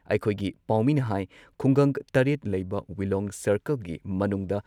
ꯑꯩꯈꯣꯏꯒꯤ ꯄꯥꯎꯃꯤꯅ ꯍꯥꯏ ꯈꯨꯡꯒꯪ ꯇꯔꯦꯠ ꯂꯩꯕ ꯋꯤꯂꯣꯡ ꯁꯥꯔꯀꯜꯒꯤ ꯃꯅꯨꯡꯗ